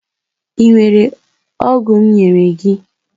i were ogwu m nyere gi?